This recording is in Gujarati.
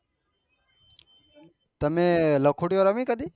તમે લખોટીયો રમી કદી